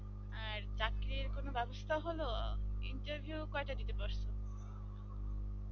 আর চাকরির কোন ব্যবস্থা হল interview কইটা দিতে পারছ